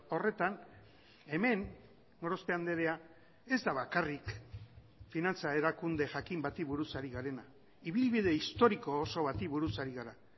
horretan hemen gorospe andrea ez da bakarrik finantza erakunde jakin bati buruz ari garena ibilbide historiko oso bati buruz ari gara